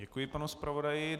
Děkuji panu zpravodaji.